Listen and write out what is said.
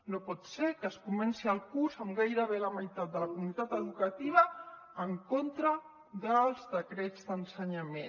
no pot ser que es comenci el curs amb gairebé la meitat de la comunitat educativa en contra dels decrets d’ensenyament